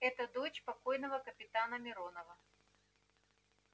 это дочь покойного капитана миронова